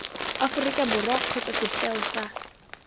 aforika borwa kgotsa setheo sa